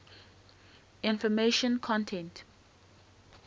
information content